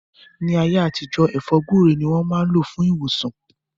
Ni aye atijọ, È̩fó̩ gbúre ni wọn maa n lo fun iwosan.